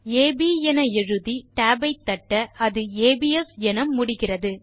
அப் எழுதி tab ஐ தட்ட அது ஏபிஎஸ் என முடிகிறது